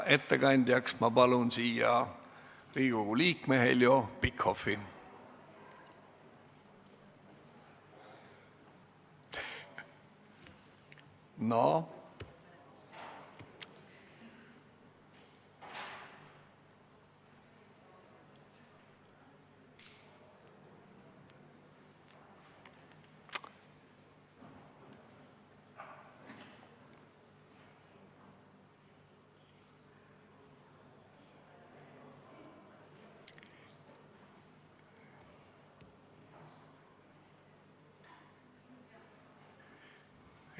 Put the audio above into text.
Ettekandjaks palun siia Riigikogu liikme Heljo Pikhofi!